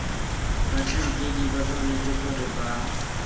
batlhankedi ba tshwanetse gore ba